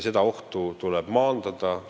Seda ohtu tuleb maandada.